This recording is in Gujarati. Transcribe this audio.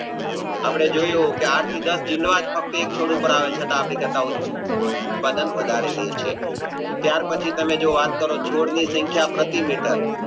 અપને જોયું કે આઠથી દાસ ડીંડવા જ ફક્ત એક છોડ ઉપર આવે છતાં ટકાવ ઉત્પાદન વધારે લેય છે ત્યાર પછી તમે જે વાત કરો ચો છોડ ની સંખ્યા પ્રતિ meter